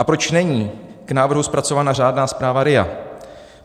A proč není k návrhu zpracována řádná zpráva RIA?